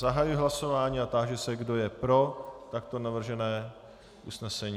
Zahajuji hlasování a táži se, kdo je pro takto navržené usnesení.